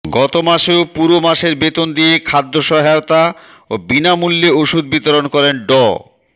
গত মাসেও পুরো মাসের বেতন দিয়ে খাদ্য সহায়তা ও বিনামূল্যে ওষুধ বিতরণ করেন ড